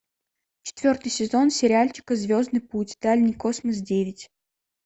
четвертый сезон сериальчика звездный путь дальний космос девять